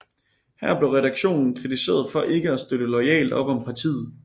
Her blev redaktionen kritiseret for ikke at støtte loyalt op om partiet